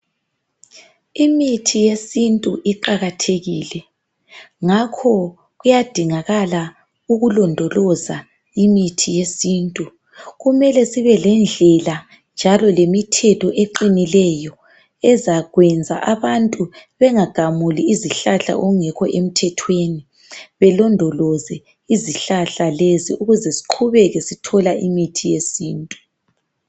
Imithi yesintu iqakathekile ngakho kuyadingakala ukulondoloza imithi yesintu. Kumele sibelendlela njalo lemithetho eqinileyo ezakwenza abantu bengagamuli izihlahla okungekho emthethweni, belondoloze izihlahla lezi ukuze siqhubeke sithola imithi yesintu.